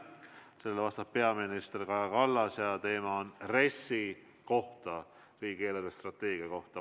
Sellele vastab peaminister Kaja Kallas ja küsimus on RES-i kohta, riigi eelarvestrateegia kohta.